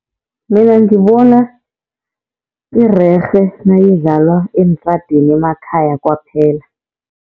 Mina ngibona irerhe nayidlalwa entradeni emakhaya kwaphela.